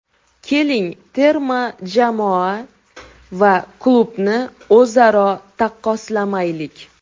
Keling terma jamoa va klubni o‘zaro taqqoslamaylik.